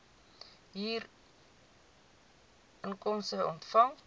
u huurinkomste ontvang